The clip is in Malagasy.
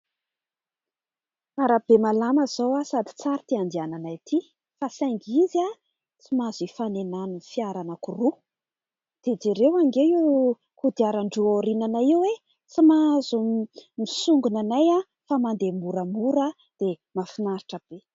Arabe malama izao sady tsara itỳ andehanany ity, fa saingy izy tsy mahazo hifanenan'ny fiara anankiroa, dia jereo ange io kodiaran-droa aorinanay io e ! Tsy mahazo misongona anay, fa mandeha moramora dia mahafinaritra be.